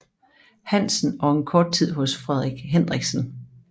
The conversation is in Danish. Hansen og en kort tid hos Frederik Hendriksen